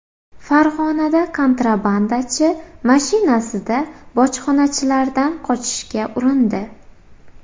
Farg‘onada kontrabandachi mashinasida bojxonachilardan qochishga urindi.